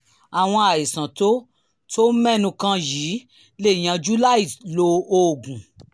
àwọn àìsàn tó tó o mẹ́nu kàn yìí lè yanjú láìlo oògùn